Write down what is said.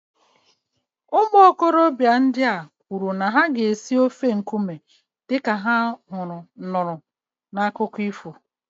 Ụmụ okorobịa ndị a kwuru na ha ga-esi ofe nkume dị ka ha nụrụ n'akụkọ ifo